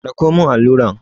Ɗauko mun alluran!